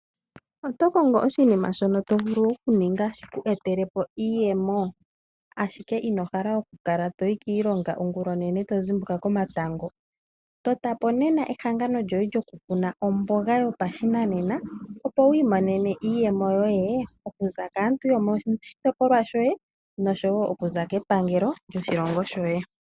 Oto kongo oshinima shono to vulu okuninga shiku etele po iiyemo? Ashike ino hala okukala toyi kiilongo ongulonene ngoye tozimbuka komatango. Totapo nena ehangano lyoye lyokukuna omboga yopashinanena opo wu imonene iiyemo yoye okuza kaantu yomoshitipolwa shoye noshowo okuza kepangelo lyoshilongo shoye.